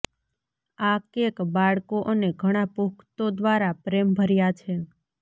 આ કેક બાળકો અને ઘણા પુખ્તો દ્વારા પ્રેમભર્યા છે